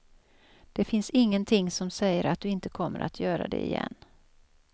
Det finns ingenting som säger att du inte kommer att göra det igen.